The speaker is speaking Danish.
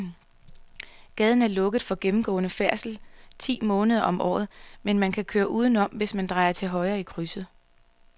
Gaden er lukket for gennemgående færdsel ti måneder om året, men man kan køre udenom, hvis man drejer til højre i krydset.